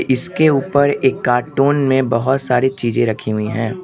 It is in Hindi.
इसके ऊपर एक कार्टून में बहुत सारी चीज रखी हुई है।